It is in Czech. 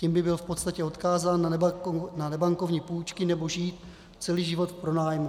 Tím by byl v podstatě odkázán na nebankovní půjčky, nebo žít celý život v pronájmu.